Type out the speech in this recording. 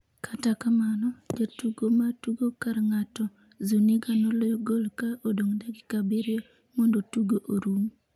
kata kamano jatugo ma tugo kar ng'ato Zuniga noloyo gol ka odong’ dakika abiriyo mondo tugo orum.